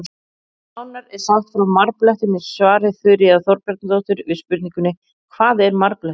Nánar er sagt frá marblettum í svari Þuríðar Þorbjarnardóttur við spurningunni Hvað er marblettur?